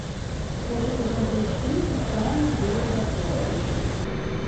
хочу посмотреть фильм тайны города эн